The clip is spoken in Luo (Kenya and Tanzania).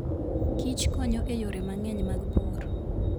Kich konyo e yore mang'eny mag pur.